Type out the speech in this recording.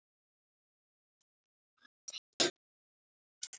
Andra ólafs Besti knattspyrnumaður Íslands í dag?